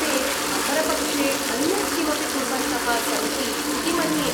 ते अपरपक्षे अन्यत् किमपि कुर्वन्तः सन्ति इति मन्ये।